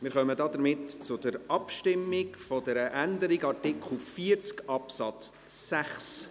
Wir kommen damit zur Abstimmung zur Änderung von Artikel 40 Absatz 6.